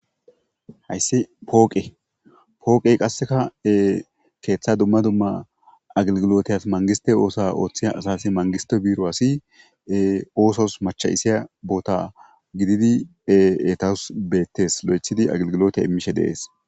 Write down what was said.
hayssi pooqe pooqey qasseka keeththa dumma dumma aglgiloteys mangiste oosa ooththi asasi mangiste biiro asi oosos macha isiya boota gididi pheetaus beettes lo7ethidi aglgilote immishe deees